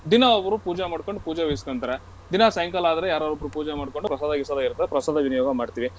ದಿನಾ ಒಬ್ರಬ್ರೂ ಪೂಜೆ ಮಾಡ್ಕೊಂಡು ಪೂಜೆ ವಹಿಸ್ಕೊಂತಾರೆ. ದಿನಾ ಸಾಯಂಕಾಲ ಆದ್ರೆ ಯಾರಾರೊಬ್ರೂ ಪೂಜೆ ಮಾಡ್ಕೊಂಡು ಪ್ರಸಾದ ಗಿಸಾದ ಇರ್ತದೆ ಪ್ರಸಾದ ವಿನಿಯೋಗ ಮಾಡ್ತೀವಿ.